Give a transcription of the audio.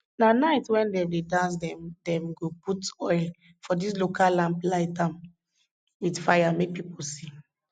na night wen dem dey dance dem dem go put oil for dis local lamp light am with fire make people see